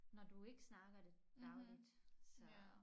Når du ikke snakker det dagligt så